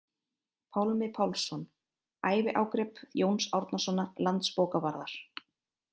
Pálmi Pálsson: Æviágrip Jóns Árnasonar landsbókavarðar